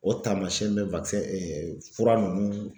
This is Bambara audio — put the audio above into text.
O tamasɛn be wakisɛn ɛ ɛ fura nunnu